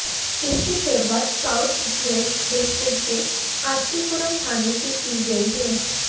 इसकी शुरुआत south west district के आरके पुरम थाने से की गई है